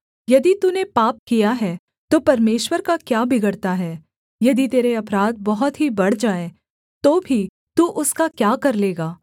यदि तूने पाप किया है तो परमेश्वर का क्या बिगड़ता है यदि तेरे अपराध बहुत ही बढ़ जाएँ तो भी तू उसका क्या कर लेगा